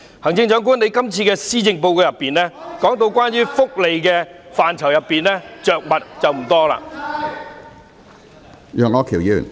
行政長官，在這份施政報告中，你對福利範疇着墨不多......